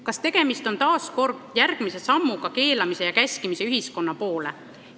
Kas tegemist on järjekordse sammuga keelamise ja käskimise ühiskonna poole?